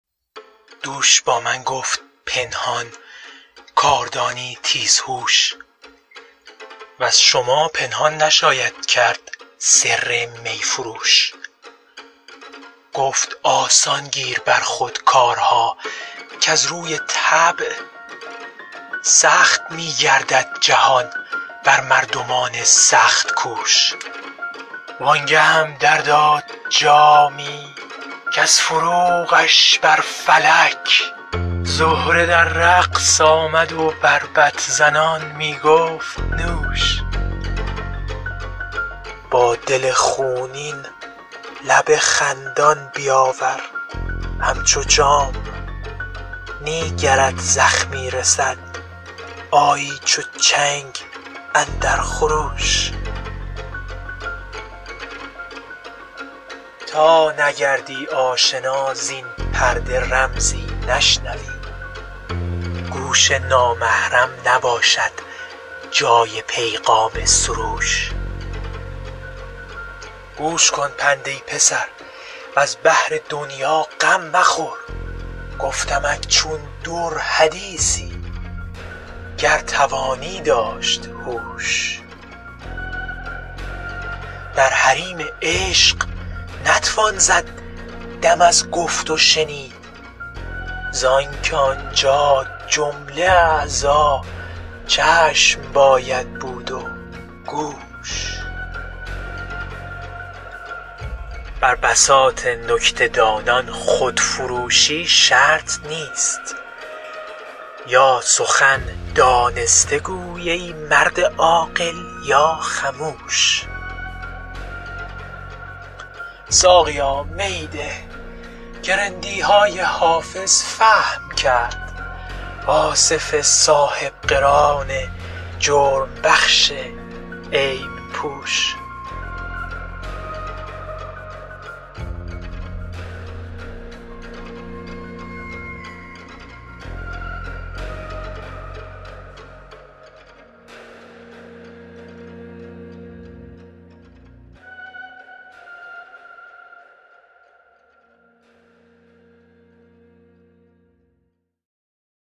دوش با من گفت پنهان کاردانی تیزهوش وز شما پنهان نشاید کرد سر می فروش گفت آسان گیر بر خود کارها کز روی طبع سخت می گردد جهان بر مردمان سخت کوش وان گهم در داد جامی کز فروغش بر فلک زهره در رقص آمد و بربط زنان می گفت نوش با دل خونین لب خندان بیاور همچو جام نی گرت زخمی رسد آیی چو چنگ اندر خروش تا نگردی آشنا زین پرده رمزی نشنوی گوش نامحرم نباشد جای پیغام سروش گوش کن پند ای پسر وز بهر دنیا غم مخور گفتمت چون در حدیثی گر توانی داشت هوش در حریم عشق نتوان زد دم از گفت و شنید زان که آنجا جمله اعضا چشم باید بود و گوش بر بساط نکته دانان خودفروشی شرط نیست یا سخن دانسته گو ای مرد عاقل یا خموش ساقیا می ده که رندی های حافظ فهم کرد آصف صاحب قران جرم بخش عیب پوش